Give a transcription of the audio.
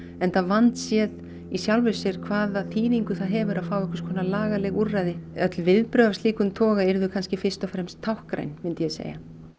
enda vandséð í sjálfu sér hvaða þýðingu það hefur að fá einhvers konar lagaleg úrræði öll viðbrögð af slíkum toga yrðu fyrst og fremst táknræn myndi ég segja